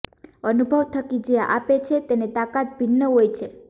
અનુભવ થકી જે આપે છે તેની તાકાત ભિન્ન હોય છે